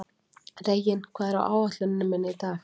Reginn, hvað er á áætluninni minni í dag?